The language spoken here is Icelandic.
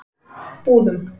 Búðum